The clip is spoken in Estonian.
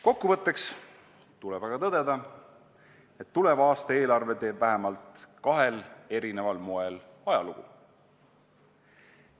Kokkuvõtteks tuleb aga tõdeda, et tuleva aasta eelarve teeb vähemalt kahel eri moel ajalugu.